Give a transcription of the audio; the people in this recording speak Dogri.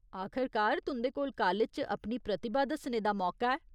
आखरकार तुं'दे कोल कालेज च अपनी प्रतिभा दस्सने दा मौका ऐ।